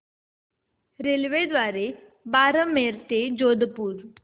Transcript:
रेल्वेद्वारे बारमेर ते जोधपुर